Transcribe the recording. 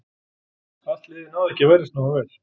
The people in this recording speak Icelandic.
Allt liðið náði ekki að verjast nógu vel.